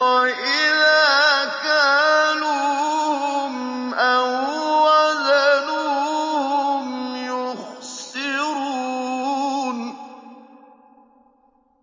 وَإِذَا كَالُوهُمْ أَو وَّزَنُوهُمْ يُخْسِرُونَ